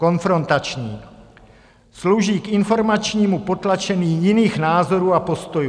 Konfrontační, slouží k informačnímu potlačení jiných názorů a postojů.